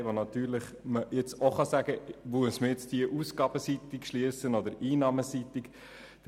Hier kann man jetzt die Frage stellen, ob sie ausgabenseitig oder einnahmenseitig geschlossen werden soll.